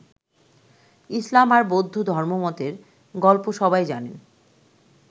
ইসলাম আর বৌদ্ধ ধর্মমতের গল্প সবাই জানেন।